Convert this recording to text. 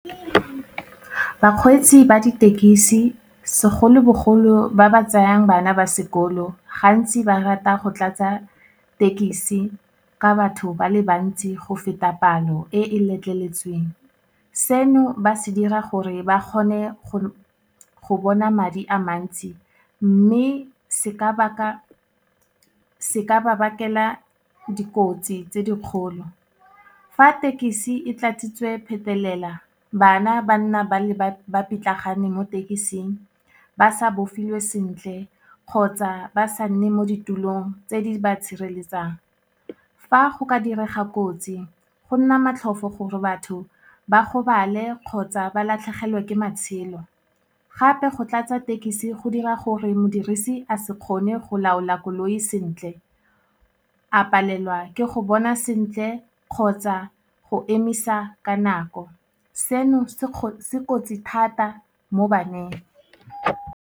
Bakgweetsi ba ditekisi, segolobogolo ba ba tsayang bana ba sekolo gantsi ba rata go tlatsa tekisi ka batho ba le bantsi go feta palo e e letleletsweng, seno ba se dira gore ba kgone go bona madi a mantsi, mme se ka ba bakela dikotsi tse dikgolo. Fa thekisi e tlatsitswe phetelela, bana ba nna ba pitlagane mo tekising, ba sa bofiwe sentle kgotsa ba sa nne mo ditulong tse di ba tshireletsang. Fa go ka direga kotsi go nna matlhofo gore batho ba gobale kgotsa ba latlhegelwe ke matshelo. Gape go tlatsa tekesi, go dira gore modirisi a se kgone go laola koloi sentle, a palelwa ke go bona sentle, kgotsa go emisa ka nako. Seno, se kotsi thata mo baneng.